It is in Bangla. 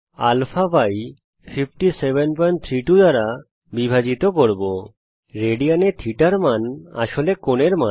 উল্লেখ্য যে রেডিয়ান এ θ র মান হল আসলে কোণের মান